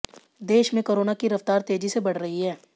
देश में कोरोना की रफ़्तार तेजी से बढ़ रही है